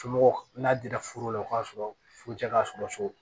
Somɔgɔw n'a dira furu la o k'a sɔrɔ furu cɛ ka sɔrɔ so